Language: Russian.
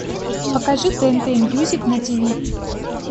покажи тнт мьюзик на ти ви